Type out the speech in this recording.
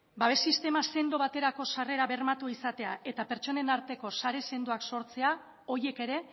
babes sistema sendo baterako sarrera bermatua izatea eta pertsonen arteko sare sendoak sortzea horiek ere